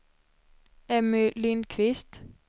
Emmy Lindquist